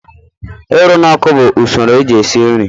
Ịrụ n'ọkụ bụ usoro eji esi nri.